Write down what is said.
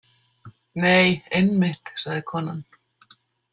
Nei, einmitt, sagði konan.